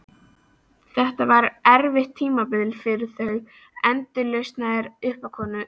Þetta var erfitt tímabil fyrir þau, endalausar uppákomur.